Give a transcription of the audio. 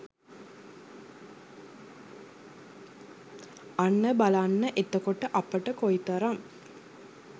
අන්න බලන්න එතකොට අපට කොයිතරම්